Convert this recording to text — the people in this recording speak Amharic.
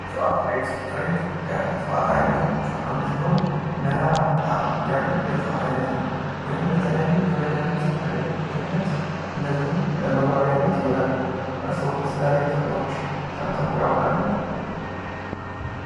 እፅዋት ፦ እሬት ፦ እሬት ከእፅዋት አይነቶች ውስጥ አንዱ ሲሆን መራራ ጣዕም ያለው የእጽዋት አይነት ነው ። ይህውም ለተለያዩ የመዳኒት አገልግሎት እንደዚሁም ለመዋቢያነት ይውላል ። እርስዎ ስለሬት ጥቅሞች ሰምተው ያውቃሉ ?